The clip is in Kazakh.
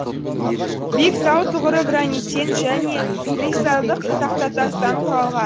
биік тау тұғыры граниттен және кристалдық тақтатастан құралған